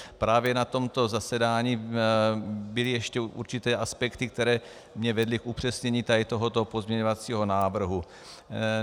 Právě na tomto zasedání byly ještě určité aspekty, které mě vedly k upřesnění tohoto pozměňovacího návrhu.